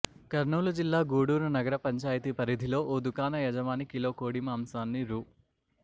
కర్నూలు జిల్లా గూడూరు నగర పంచాయతీ పరిధిలో ఓ దుకాణ యజమాని కిలో కోడి మాంసాన్ని రూ